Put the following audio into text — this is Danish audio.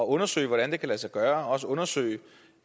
undersøge hvordan det kan lade sig gøre og også undersøge